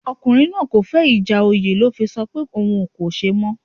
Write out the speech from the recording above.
Ọkùnrin náà kò fẹ́ ìjà oyè ló fẹ sọ pé òun kò ṣe mọ́